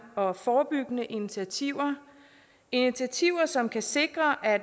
og forebyggende initiativer initiativer som kan sikre at